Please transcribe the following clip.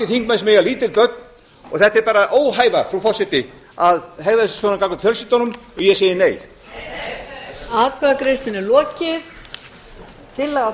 þingmenn sem eiga lítil börn og þetta er bara óhæfa frú forseti að hegða sér svona gagnvart fjölskyldunum og ég segi nei